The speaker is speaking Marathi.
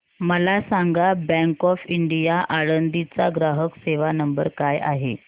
मला सांगा बँक ऑफ इंडिया आळंदी चा ग्राहक सेवा नंबर काय आहे